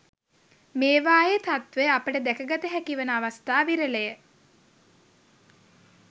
මේවායේ තත්ත්වය අපට දැක ගත හැකි වන අවස්ථා විරල ය.